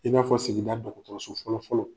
I n'a fɔ segida dɔgɔtɔrɔso fɔlɔ-fɔlɔ.